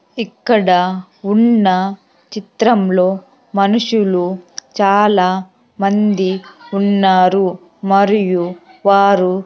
ఇక్కడ ఉన్న చిత్రంలో మనుషులు చాలా మంది ఉన్నారు మరియు వారు--